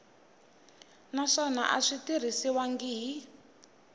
naswona a swi tirhisiwangi hi